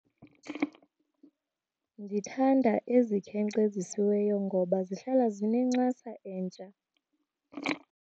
Ndithanda ezikhenkcezisiweyo ngoba zihlala zinencasa entsha.